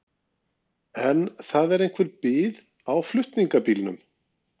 En það er einhver bið á flutningabílnum.